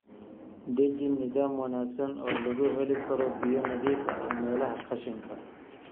Deji nidaam wanaagsan oo lagu heli karo biyo nadiif ah meelaha qashinka ah.